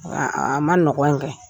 An ma nɔgɔ in kɛ.